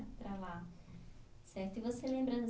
Para lá, certo. E você lembra